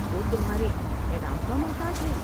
وہ تمھارے انعام کامحتاج ہے ؟